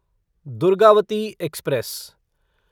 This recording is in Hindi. दुर्गावती एक्सप्रेस